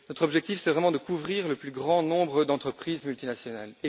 Notre objectif est vraiment de couvrir le plus grand nombre d'entreprises multinationales.